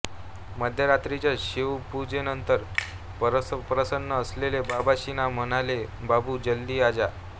मध्यरात्रीच्या शिवपूजेनंतर परमप्रसन्न असलेले बाबा श्रींना म्हणाले बाबू जल्दी आ जा